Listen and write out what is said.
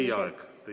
Hea vastaja, teie aeg!